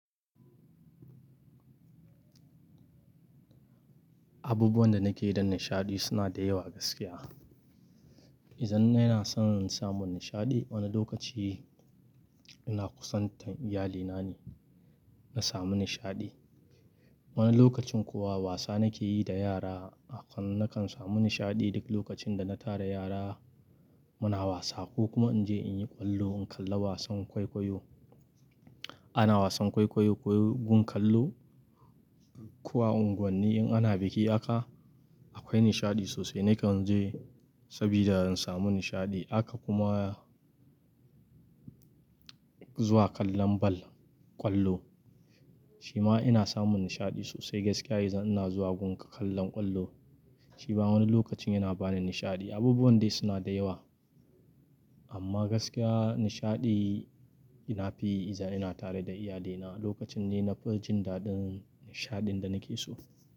Abubuwan da nake yi don nishaɗi suna da yawa gaskiya. Idan ina son samun nishaɗi, wani lokaci ina kusantar iyalina ne na sami nishaɗi. Wani lokacin kuwa wasa nake yi da yara. Akan nakan sami nishaɗi duk lokacin da na tara yara muna wasa ko kuma in je in yi ƙwallo in kalla wasan kwaikwayo. Ana wasan kwaikwayo ko gun kallo. Ko, a unguwanni in ana biki haka akwai nishaɗi sosai nakan je sabida in samu nishaɗi. Haka kuma zuwa kallon bal, ƙwallo shima ina samu nishaɗi sosai gaskiya idan ina zuwa gun kallon ƙwallo shima wani lokacin yana bani nishaɗi. Abubuwan dai suna da yawa, amma gaskiya nishaɗi na fi yi idan ina tare da iyalina. Lokacin ne na fi jin daɗin nishaɗin da nake so.